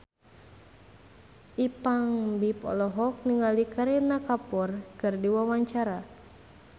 Ipank BIP olohok ningali Kareena Kapoor keur diwawancara